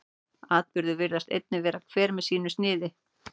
atburðirnir virðist einnig vera hver með sínu sniði